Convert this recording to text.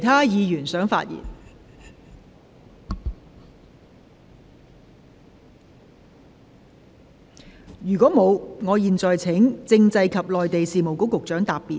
如果沒有，我現在請政制及內地事務局局長答辯。